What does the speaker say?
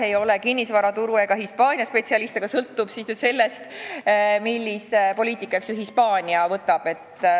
Ei ole kinnisvaraturu ega Hispaania spetsialist, aga sõltub sellest, millise poliitika Hispaania võtab.